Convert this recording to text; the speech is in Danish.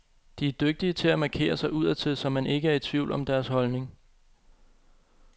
De er dygtige til at markere sig udadtil, så man ikke er i tvivl om deres holdning.